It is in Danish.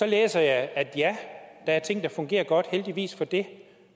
læser jeg at ja der er ting der fungerer godt og heldigvis for det